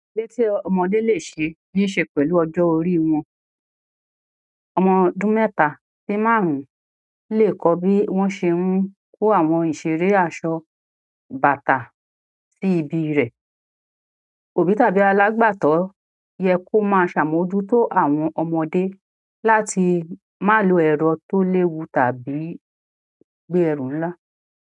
Ere tí ọmọdé lè ṣe ní ṣe pẹ̀lú ọjọ́ orí wọn. Ọmọ ọdún mẹ́ta sí márùn-ún lè kọ́ bí wọ́n ṣe ń kó àwọn ìṣeré aṣọ bàtà sí ibi rẹ̀. Òbí tàbí alágbàtọ́ yẹ kó máa ṣàmójútó àwọn ọmọdé láti má lo ẹ̀rọ tó léwu tàbí gbé ẹrù ńlá.